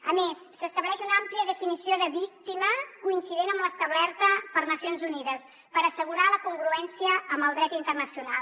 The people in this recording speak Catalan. a més s’estableix una àmplia definició de víctima coincident amb l’establerta per nacions unides per assegurar la congruència amb el dret internacional